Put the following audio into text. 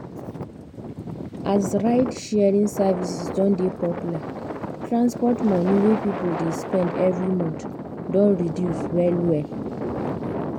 as ride-sharing services don dey popular transport money wey people dey spend every month don reduce well well.